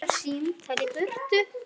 Bara símtal í burtu.